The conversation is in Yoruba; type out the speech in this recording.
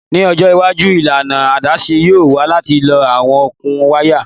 Ni ojo iwaju ilana adaṣe yoo wa lati lo awọn okun waya